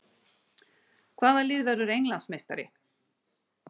Hvaða lið verður Englandsmeistari?